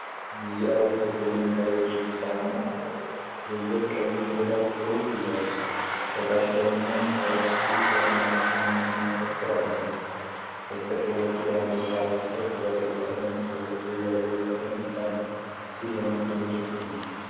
ቢጂአይ ኢትዮጵያ የሚባል የድርጅት አርማ ያሳያል። ትልልቅ ቀይ ፊደላት ጽሑፍ ይዘዋል። ከታች ደግሞ "ተርስቲ ፎር ሞር" የሚል መፈክር አለው። በስተቀኝ በኩል የአንበሳ ራስ ቅርጽ በቀይ ቀለም ይታያል። የጀርባው ቀለም ቢጫ ነው። ይህ የንግድ ምልክት ነው።